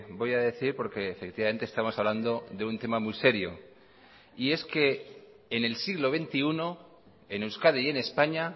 voy a decir porque efectivamente estamos hablando de un tema muy serio y es que en el siglo veintiuno en euskadi y en españa